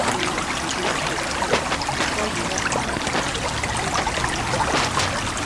make sure say you de safe first before you help another persin and make una de fast